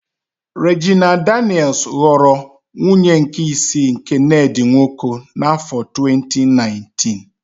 Rejina Danịels ghọrọ nwunye nke isii nke Nedị Nwoko n'áfọ 2019.